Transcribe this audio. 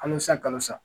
Kalosa kalo sa